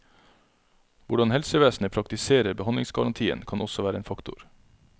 Hvordan helsevesenet praktiserer behandlingsgarantien kan også være en faktor.